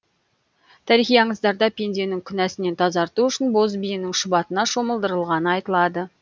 тарихи аңыздарда пенденің күнәсінен тазарту үшін боз биенің шұбатына шомылдырылғаны айтылады